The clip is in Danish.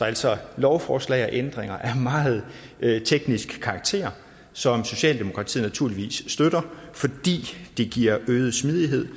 altså lovforslag og ændringer af meget teknisk karakter som socialdemokratiet naturligvis støtter fordi det giver øget smidighed